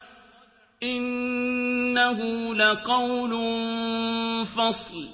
إِنَّهُ لَقَوْلٌ فَصْلٌ